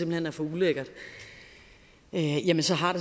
hen er for ulækkert jamen så har